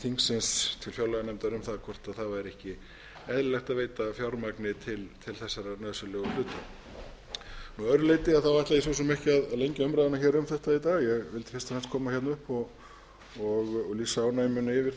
til fjárlaganefndar um hvort það væri ekki eðlilegt að veita fjármagni til þessara nauðsynlegu hluta að öðru leyti ætla ég svo sem ekki að lengja umræðuna um þetta í dag ég vildi fyrst og fremst koma upp og lýsa ánægju minni yfir því að það er verið að vinna